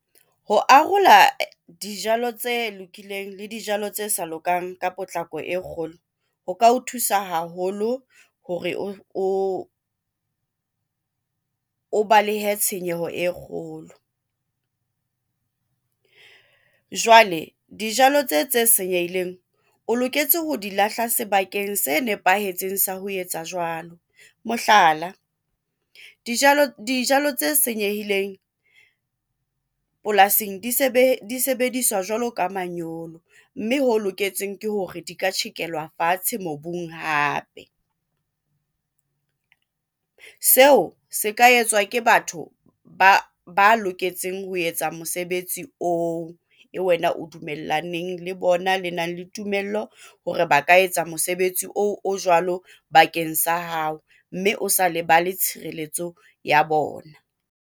Ho arola dijalo tse lokileng le dijalo tse sa lokang ka potlako e kgolo ho ka ho thusa haholo hore o balehe tshenyeho e kgolo. Jwale dijalo tse tse senyehileng, o loketse ho di lahla sebakeng se nepahetseng sa ho etsa jwalo, mohlala, dijalo tse senyehileng polasing disebediswa jwalo ka manyolo, mme ho loketsweng ke hore di ka tjhekelwa fatshe mobung hape. Seo se ka etswa ke batho ba loketseng ho etsa mosebetsi oo, eo wena o dumellaneng le bona le nang le tumello hore ba ka etsa mosebetsi oo o jwalo bakeng sa hao mme o sa lebale tshireletso ya bona.